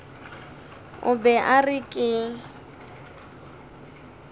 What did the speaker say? o be a re ke